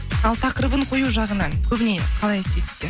ал тақырыбын қою жағынан көбіне қалай істейсіздер